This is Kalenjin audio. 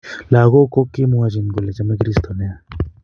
Lakok ko kemwachin kole chome kristo nea